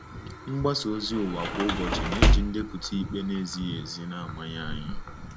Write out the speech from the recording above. Mgbasa ozi ụwa kwa ụbọchị na-eji ndepụta ikpe na-ezighị ezi na-amanye anyị.